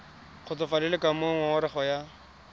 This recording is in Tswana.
kgotsofalele ka moo ngongorego ya